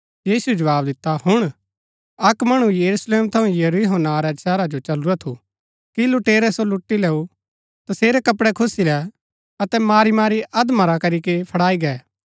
यीशुऐ जवाव दिता हुण अक्क मणु यरूशलेम थऊँ यरीहो नां रै शहरा जो चलुरा थु कि लुटेरै सो लुटी लेऊ तसेरै कपड़ै खुस्सी लै अतै मारीमारी अधमरा करीके फड़ाई गै